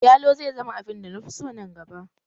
Yalo zai zama abin da na fi so nan gaba